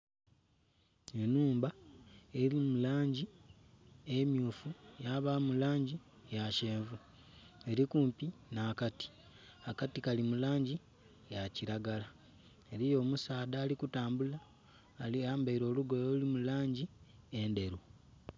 Enhumba eri mu langi emyufu yabamu langi ya kyenvu erikumpi nha kati, akati kali mu langi ya kilagala eriyo omusaadha ali kutambula ayambaire olugoye oluli mu langi endheru.